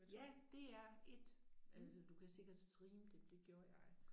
Ja DR1 eller du kan sikkert streame det det gjorde jeg